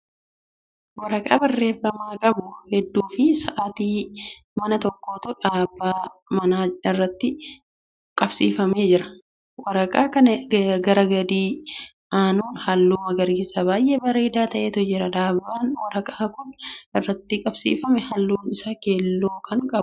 Waraqaa barreeffaman qabu hedduufi sa'aatii manaa tokkotu dhaabaa manaa irratti qabsiifamee jira. waraqaa kana gara gadi aanuun halluu magariisa baay'ee bareedaa ta'etu jira. dhaabaan waraqaan Kun irratti qabsiifamee halluun Isaa keelloo Kan ta'eedha.